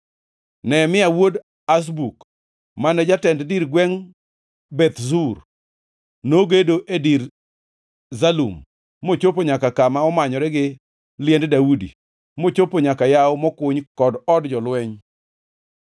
Nehemia wuod Azbuk, mane jatend dir gwengʼ Beth Zur, nogedo e dir Zalum mochopo nyaka kama omanyore gi liend Daudi mochopo nyaka yawo mokuny kod od jolweny.